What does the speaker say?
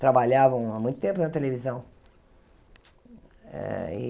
Trabalhavam há muito tempo na televisão. Eh e